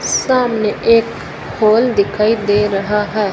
सामने एक हॉल दिखाई दे रहा है।